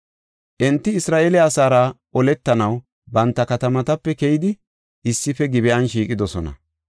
Enti Isra7eele asaara oletanaw banta katamatape keyidi issife Gib7an shiiqidosona.